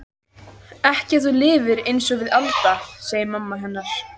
Ekki ef þú lifir einsog við Alda, segir mamma hennar.